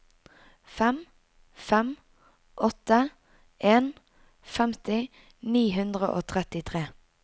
fem fem åtte en femti ni hundre og trettitre